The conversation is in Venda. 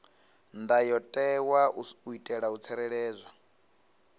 ndayotewa u itela u tsireledza